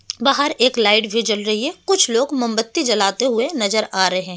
बाहर एक लाइट भी जल रही है कुछ लोग मोमबत्ती जलाते हुए नजर आ रहे हैं।